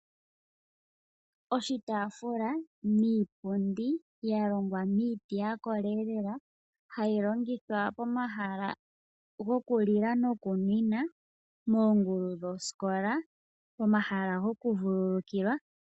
Oshitaafula niipundi ya longwa miiti ya koleelela hayi longithwa pomahala gokulila nokunwina, moongulu dhoskola , pomahala gokuvululukilwa